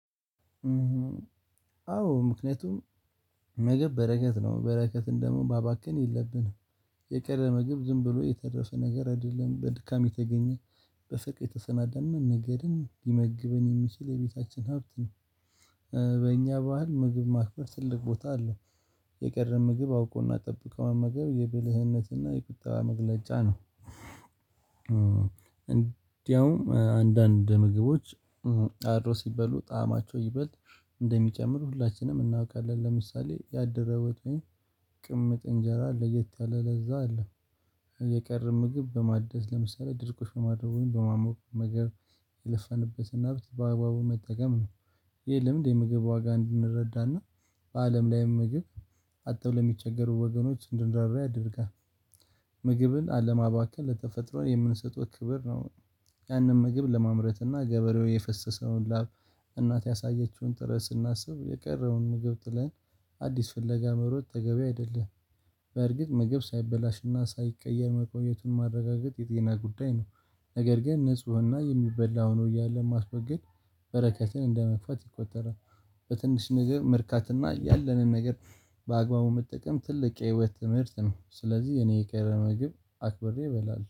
አዎ ምክንያቱም ምግብ በረከት ነው በረከትን ደሞ ማባከንን የለብንም የቀረ ምግብ ዝም ብሎ የተደረፈ ነገር አይደለም በድካም የተገኘ በስቅ የተሰናደነ ነገድን ሊመግበን የሚችል የቤታችን ሀብት ነው። በእኛ ባህል ምግብ ማክበር ትልቅ ቦታ አለ። የቀረን ምግብ አውቆና ጠብቆና መመገብ የብልህነትና የቁጠባ መግለጫ ነው። እንዲያውም አንዳንድ ምግቦች አድሮ ሲበሉ ጣዕማቸው ይበልጥ እንደሚጨምር ሁላችንም እናውቃለን። ለምሳሌ ያደረወት ወጥ ቅምጥ እንጀራ ለየት ያለ ለዛ አለ። የቀረበ ምግብ በማደስ ለምሳሌ ድርቁ ሽማርቡኝ በማሞቅ መመገብ የለፋንበትን ሀብት በአግባቡ መጠቀም ነው። የለም እንዴ ምግብ ዋጋ እንድንረዳና በአለም ላይ ምግብ አጥጥተው የሚቸገሩ ወገኖች እንድንራራ ያደርጋል። ምግብን አለማባከን ለተፈጥሮ የምንሰጠው ክብር ነው። ያንን ምግብ ለማምረት እና ገበሬው የፈሰሰውን ላብ እናት ያሳየችውን ጥረት ስናስብ የቀረውን ምግብ ጥለን አዲስ ፍለጋ መሮጥ ተገቢ አይደለም። በእርግጥ ምግብ ሳይበላሽና ሳይቀየር መቆየቱን ማረጋገጥ የጤና ጉዳይ ነው። ነገር ግን ንፁህና የሚበላ ሆኖ እያለ ማስወገድ በረከትን እንደመክፈት ይቆጠራል። በትንሽ ነገር መርካትና ያለንን ነገር በአግባቡ መጠቀም ትልቅ የህይወት ትምህርት ነው። ስለዚህ እኔ የከረመ ምግብ አክብሬ እበላለሁ